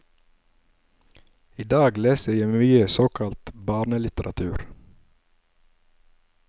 I dag leser jeg mye såkalt barnelitteratur.